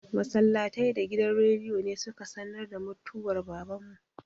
Masallatai da gidan rediyo ne su ka sanar da mutwar Baban mu.